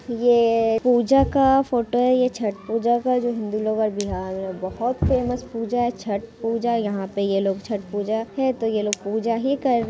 ये पूजा का फोटो है ये छठ पूजा का जो हिन्दू लोग बिहार में बहुत फेमस पूजा है छठ पूजा यहाँ पे ये लोग छठ पूजा है तो ये लोग पूजा ही कर रहे है।